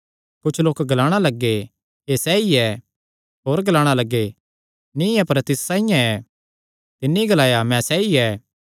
कुच्छ लोक ग्लाणा लग्गे एह़ सैई ऐ होर ग्लाणा लग्गे नीं अपर तिस साइआं ऐ तिन्नी ग्लाया मैं सैई ऐ